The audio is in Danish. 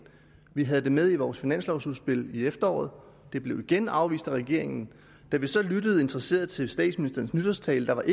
vi havde det også med i vores finanslovudspil i efteråret og det blev igen afvist af regeringen da vi så lyttede interesseret til statsministerens nytårstale var der